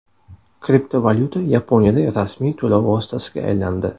Kriptovalyuta Yaponiyada rasmiy to‘lov vositasiga aylandi.